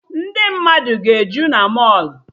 Ndị mmadụ ga-eju na mọlụ